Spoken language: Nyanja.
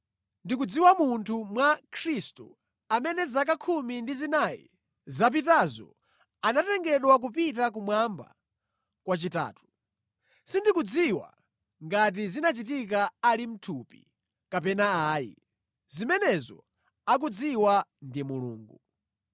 Ndikudziwa munthu mwa Khristu amene zaka khumi ndi zinayi zapitazo anatengedwa kupita kumwamba kwachitatu. Sindikudziwa ngati zinachitika ali mʼthupi kapena ayi, zimenezo akudziwa ndi Mulungu.